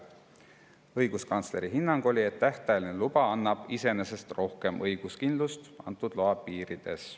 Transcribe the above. Õiguskantsleri hinnang oli, et tähtajaline luba annab iseenesest rohkem õiguskindlust antud loa piirides.